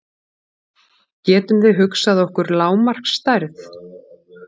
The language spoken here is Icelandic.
Getum við hugsað okkur lágmarksstærð?